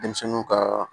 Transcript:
Denmisɛnninw ka